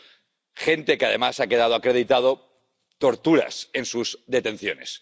y de gente a la que —además ha quedado acreditado— torturan en sus detenciones.